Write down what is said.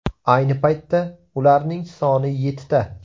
Ayni paytda ularning soni yettita.